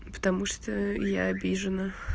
потому что я обижена